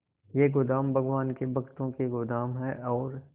ये गोदाम भगवान के भक्तों के गोदाम है और